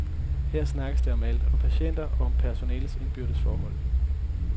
Her snakkes der om alt, om patienterne, og om personalets indbyrdes forhold.